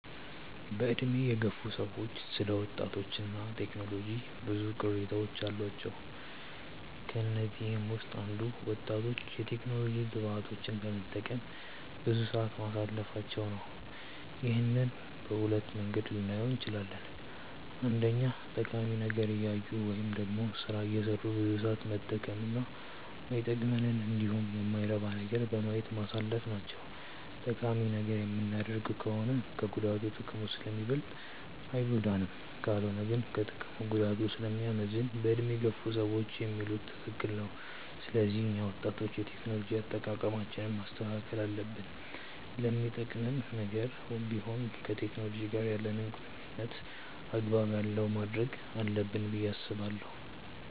በዕድሜ የገፉ ሰዎች ስለ ወጣቶች እና ቴክኖሎጂ ብዙ ቅሬታዎች አሏቸው። ከነዚህም ውስጥ አንዱ ወጣቶች የቴክኖሎጂ ግብአቶችን በመጠቀም ብዙ ሰዓት ማሳለፋቸው ነው። ይህንን በሁለት መንገድ ልናየው እንችላለን። አንደኛ ጠቃሚ ነገር እያዩ ወይም ደግሞ ስራ እየሰሩ ብዙ ሰዓት መጠቀም እና ማይጠቅመንንን እንዲሁም የማይረባ ነገርን በማየት ማሳለፍ ናቸው። ጠቃሚ ነገር የምናደርግ ከሆነ ከጉዳቱ ጥቅሙ ስለሚበልጥ አይጎዳንም። ካልሆነ ግን ከጥቅሙ ጉዳቱ ስለሚያመዝን በዕድሜ የገፉ ሰዎች የሚሉት ትክክል ነው። ስለዚህ እኛ ወጣቶች የቴክኖሎጂ አጠቃቀማችንን ማስተካከል አለብን። ለሚጠቅምም ነገር ቢሆን ከቴክኖሎጂ ጋር ያለንን ቁርኝነት አግባብ ያለው ማድረግ አለብን ብዬ አስባለሁ።